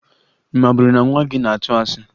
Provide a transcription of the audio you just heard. Ị maburu na nwa gị na-atụ asị?